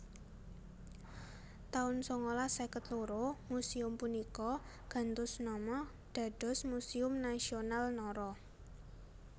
taun sangalas seket loro Museum punika gantos nama dados Museum Nasional Nara